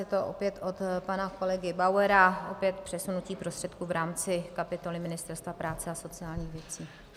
Je to opět od pana kolegy Bauera, opět přesunutí prostředků v rámci kapitoly Ministerstva práce a sociálních věcí.